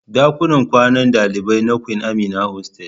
Dakunan kwanan dalibai na Queen Amina hostel.